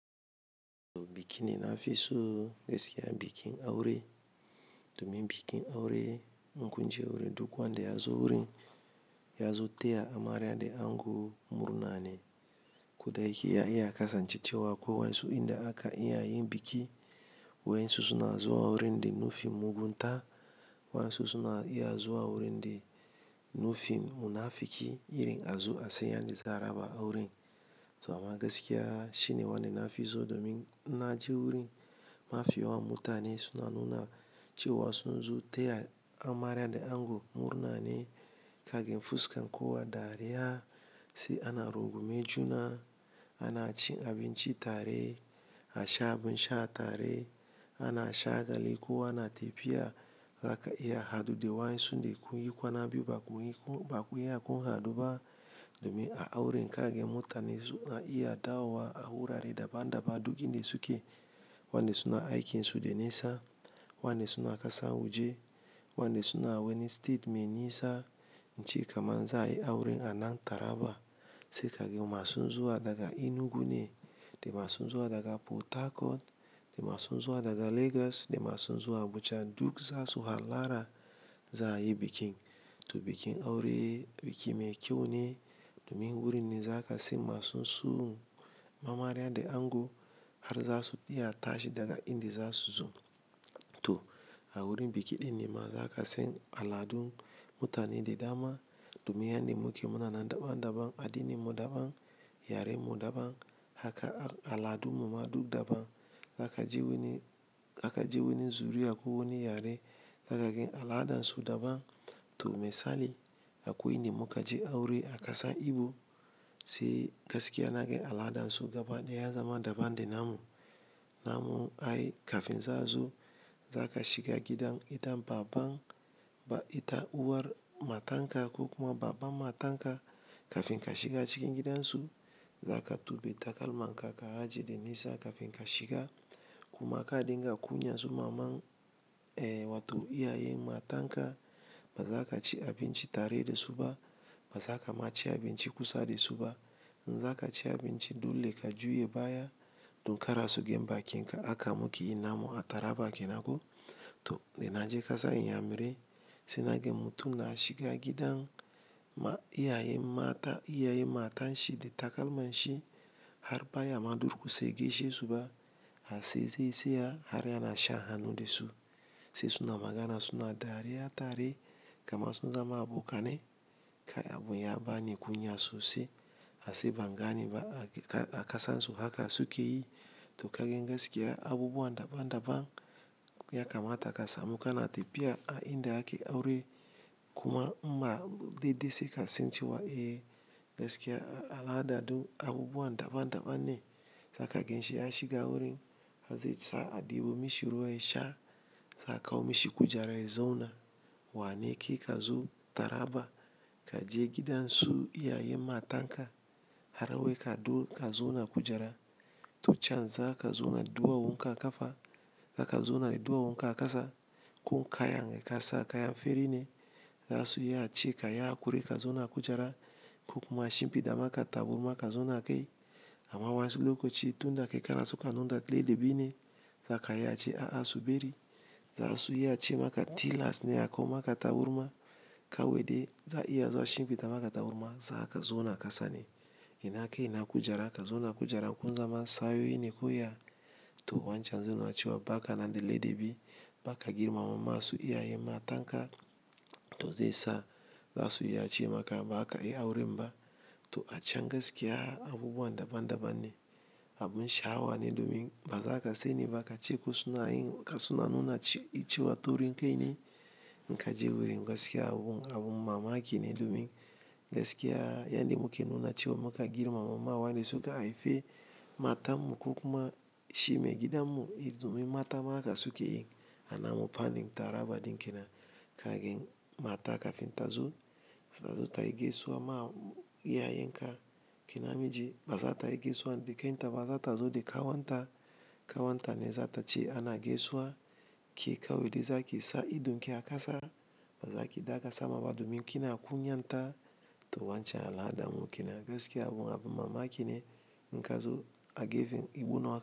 To bikin da na fi so gaskiya bikin aure domin bikin aure, in kun je wurin duk wanda ya zo wurin ya zo taya amarya da ango murna ne. Ko da ya ke zai iya kasancewa ko wasu inda ake yin biki waɗansu na zuwa wurin da nufin mugunta, waɗansu na iya zuwa wurin da nufin munafinci irin a zu a tsaya don a raba auren. To amma gaskiya shi ne wanda nafi so domin na je wurin, mafiya mutane suna nuna cewa sun zo taya amarya da ango murnane. Ka ga fuskan kowa dariya, sai ana rungume juna. Ana cin abinci tare, a sha abin sha tare, ana shagali kowa na tafiya, zaka iya haduwa da waɗansu da kun yi kwana biyu baku haɗu ba domin a aure. Za ka ga mutane suna iya dawowa a wurare daban-daban duk inda suke. Wanda su na aiki su da nisa. Waɗand su na ƙasan waje, waɗansu su na wani state mai nisa, in ce kamar za a yi aure a nan Taraba sai ka ga masu zuwa daga Enugu ne, da masu zuwa daga Port Harcourt, da masu zuwa daga Lagos, da masu zuwa Abuja duk za su hallara za a yi bikin. To bikin aure biki mai kyau ne domin wurin ne za ka siyan masu sun amarya da ango har za su iya tashi daga inda za su zo. To a wurin biki ɗin ne ma za ka san aladun mutane da dama domin yadda muke muna nan daban-daban, addininmu daban, yarenmu daban haka aladunmu ma duk daban. Zaka je wani, zaka je wani zuri'a ko wani yare, zaka ga aladansu daban. To misali akwai inda muka je aure a kasar Igbo sai gaskiya naga aladansu gaba daya ya zama daban da namu. Namu ai kafin za a zo, za ka shiga gidan ita baban ba ita uwar matanka ko kuma baban matanka kafin ka shiga cikin gidansu. Za ka tuɓe takalmanka, ka aje da nisa kafin ka shiga. Kuma ka dinga kunya zuwa maman, eh, wato iyayen matanka ba za ka ci abinci tare da su ba, ba za ka ma ci abinci kusa da su ba. In za ka ci abinci dole ka juya baya duk kar su ga ma bakinka, haka muke yin namu a Taraba kenan ko. To da naje kasa Inyamurai sai naga mutum na shiga gidan ma iyayen mata, iyayen matanshi de takalma shi har baya ma ɗurƙusa ya geshesu ba, har sai zai tsaya har yana shan hannu da su. Sai suna magana suna dariya tare kamar sun zama abokanai. Kai abun ya bani kunya sosai. Aai ban gane ba a ƙasansu haka suke yi. To kaga gaskiya abubuwa daban-daban ya kamata ka samu kana tafiya a inda ake aure kuma in ma daidai sai ka sani cewa gaskiya al'ada duk abubuwa daban-daban ne. Za ka gan shi ya shiga wurin har zai sa a ɗibo mishi ruwan sha, sai a kawo mishi kujera ya zauna. Wane kai ka zo Taraba ka je gidan su iyayen matanka har wai ka du ka zauna kujara. To can zaka zauna duwawunka a kafa, za ka zauna duwawunka a ƙasa ko kana yanga kasa kaya fari ne. Zasu iya cewa ka yi haƙuri ka zauna a kujera ko kuma a shimfiɗa maka taburma ka zauna a kai. Amma wasu lokaci tun da kai kana so ka nuna laɗabi ne, za ka iya cewa a'a su bari. Zasu iya ce maka tilas ne a kawo maka tabarma kawai dai za a iya zuwa shimfiɗa maka tabarma za ka zauna ƙasa ne. Ina kai ina kujera, ka zauna kujera kun zama taarori ne ko ya ya. To wancan zai nuna cewa baka da ladabi, baka girmama mamarsu iyayen matanka. To zai sa za su iya ce maka ba za ka yi auren ba. To a can gaskiya abubuwa daban-daban ne. Abun sha'awa ne domin bazaka sani ba ka ce ko suna yin ka suna nuna cewa taurin kai ne. In ka je wurin gaskiya abun mamaki ne domin gaskiya yadda muke nuna cewa muka girma mamawa ne suka haifi matanmu ko kuma shi mai gidanmu, domin mata ma haka suke yi a namu fannin Taraba ɗin kenan. Ka gani mata kafin ta zo, ta zo ta yi gaisuwa ma iyayenka ki na miji, ba za ta yi gaisuwa da kanta ba za ta zo da ƙawanta. Kawanta ne za ta ce ana gaisuwa, ke kawai de zaki sa idon ki a kasa ba za ki ɗaga sama ba domin kina kunyanta. To wancan al'adanmu kenan gaskiya abun abun mamaki ne in ka zo a gefen Igbo North.